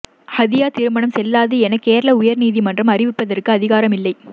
ஹதியா திருமணம் செல்லாது என கேரள உயர்நீதிமன்றம் அறிவிப்பதற்கு அதிகாரம் இல்லை